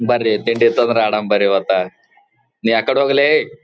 ಬರೀ ತಿಂಡಿ ಇತ್ತ ಅಂದರ ಆಡನ್ ಬರೀ ಇವತ್ತ ನೀ ಆಕಡೆ ಹೋಗ್ಲೇ.